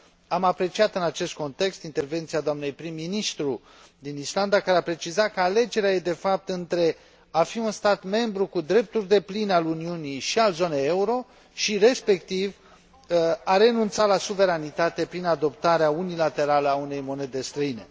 Am apreciat, în acest context, intervenția dnei prim ministru din Islanda, care a precizat că alegerea este, de fapt, între a fi un stat membru cu drepturi depline al Uniunii și al zonei euro și, respectiv, de a renunța la suveranitate prin adoptarea unilaterală a unei monede străine.